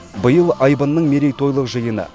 биыл айбынның мерейтойлық жиыны